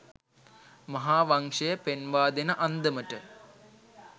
මහා වංශය පෙන්වාදෙන අන්දමට